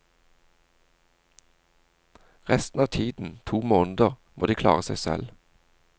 Resten av tiden, to måneder, må de klare seg selv.